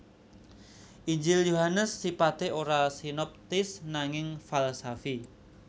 Injil Yohanes sipaté ora sinoptis nanging falsafi